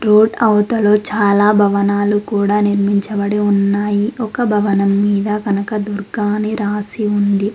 Road అవతలు చాలా భవనాలు కూడ నిర్మించబడి ఉన్నాయి ఒక భవనం మీద కనకదుర్గ అని రాసి ఉంది.